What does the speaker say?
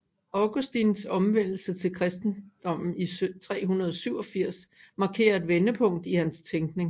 Augustins omvendelse til kristendommen i år 387 markerer et vendepunkt i hans tænkning